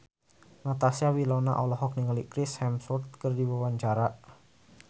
Natasha Wilona olohok ningali Chris Hemsworth keur diwawancara